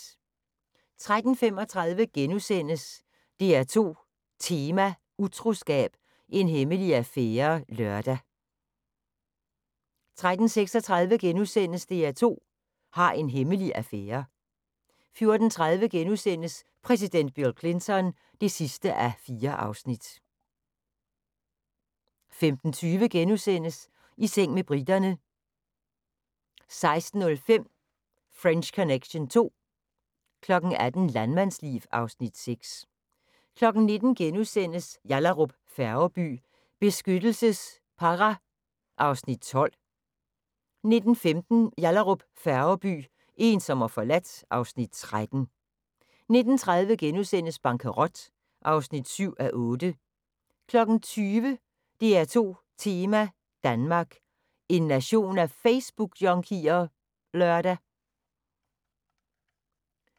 13:35: DR2 Tema: Utroskab – en hemmelig affære *(lør) 13:36: DR2 har en hemmelig affære * 14:30: Præsident Bill Clinton (4:4)* 15:20: I seng med briterne * 16:05: French Connection II 18:00: Landmandsliv (Afs. 6) 19:00: Yallahrup Færgeby: Beskyttelsespara (Afs. 12)* 19:15: Yallahrup Færgeby: Ensom og forladt (Afs. 13) 19:30: Bankerot (7:8)* 20:00: DR2 Tema: Danmark – en nation af Facebookjunkier? (lør)